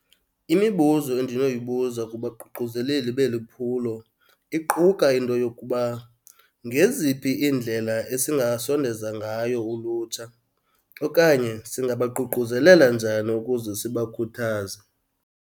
Imibuzo endinoyibuza kubaququzeleli beli phulo iquka into yokuba, ngeziphi iindlela esingasondeza ngayo ulutsha okanye singabaququzelela njani ukuze sibakhuthaze.